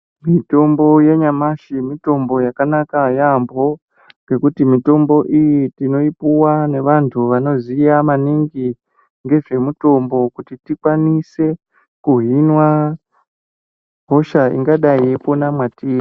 Mitombo yanyamashi mitombo yakanaka yeyamho nekuti mitombo iyi tinoipuwa nevantu vanoziya maningi ngezvemitombo kuti tikwanise kuhinwa hosha ingadai yeipona mwatiri.